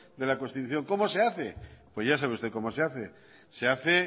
de la constitución cómo se hace pues ya sabe usted cómo se hace se hace